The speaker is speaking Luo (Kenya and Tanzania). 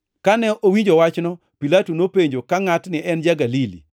Kane owinjo wachno, Pilato nopenjo ka ngʼatni ne en ja-Galili.